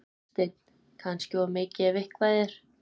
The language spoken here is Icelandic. Hafsteinn: Kannski of mikið ef eitthvað er?